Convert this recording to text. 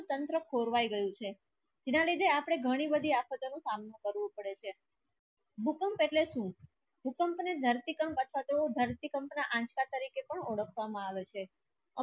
તંત્ર ખોરવાઇ ગયું છે કીના લીધે આપણે ઘણી બધી આફત નો સામનોકરવું પડે છે ભૂકંપ ઍટલે શું ભૂકંપ ને ધરતી કામ પાથતું ધરતી કંપના આંચકા તરીકે કોણ ઓળખવામાં આવે છે.